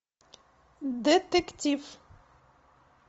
детектив